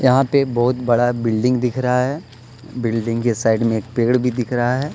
यहां पे बहुत बड़ा बिल्डिंग दिख रहा है बिल्डिंग के साइड में एक पेड़ भी दिख रहा है।